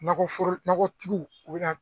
Nakɔforo nakɔtigiw o bɛ na